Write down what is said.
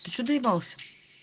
ты что доебался